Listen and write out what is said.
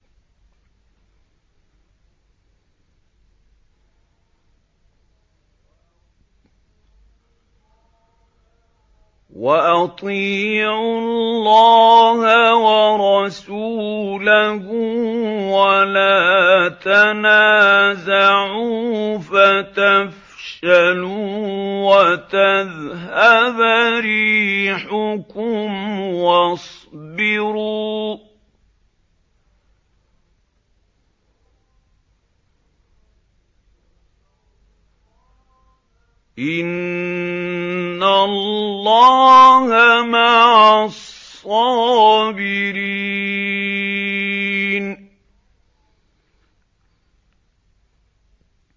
وَأَطِيعُوا اللَّهَ وَرَسُولَهُ وَلَا تَنَازَعُوا فَتَفْشَلُوا وَتَذْهَبَ رِيحُكُمْ ۖ وَاصْبِرُوا ۚ إِنَّ اللَّهَ مَعَ الصَّابِرِينَ